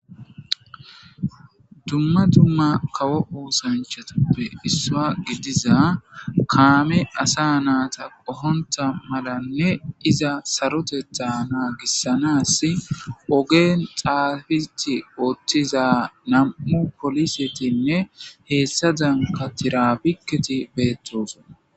dumma dumma kawo osanchatappe issuwaa gidiza kaame asa naata qohonta malanne iza sarotetha naagissanas ogeen xaafiti oottiza nam'u polisetinne heessadanka tirabikketi beettosona